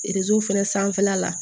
fɛnɛ sanfɛla la